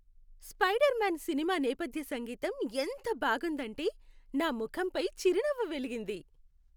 Spider man సినిమా నేపథ్య సంగీతం ఎంత బాగుందంటే, నా ముఖంపై చిరునవ్వు వెలిగింది.